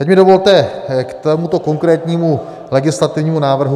Teď mi dovolte k tomuto konkrétnímu legislativnímu návrhu...